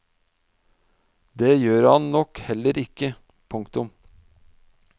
Det gjør han nok heller ikke. punktum